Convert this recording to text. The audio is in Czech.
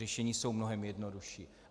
Řešení jsou mnohem jednodušší.